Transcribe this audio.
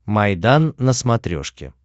майдан на смотрешке